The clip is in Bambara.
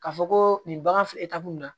Ka fɔ ko nin bagan f na